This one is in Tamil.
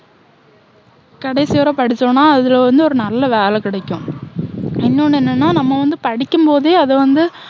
கடைசி வரை படிச்சோன்னா, அதுல வந்து ஒரு நல்ல வேலை கிடைக்கும். இன்னொண்ணு என்னென்னா, நம்ம வந்து படிக்கும்போதே அது வந்து